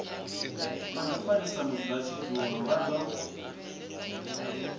na mufarisa mudzulatshidulo vha do